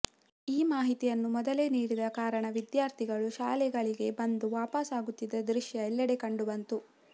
ಈ ಮಾಹಿತಿಯನ್ನು ಮೊದಲೇ ನೀಡದ ಕಾರಣ ವಿದ್ಯಾರ್ಥಿ ಗಳು ಶಾಲೆಗಳಿಗೆ ಬಂದು ವಾಪಸಾ ಗುತ್ತಿದ್ದ ದೃಶ್ಯ ಎಲ್ಲೆಡೆ ಕಂಡುಬಂತು